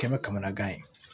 Kɛmɛ kamanagan ye